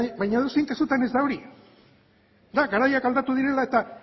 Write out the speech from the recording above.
baina edozein kasutan ez da hori da garaiek aldatu direla eta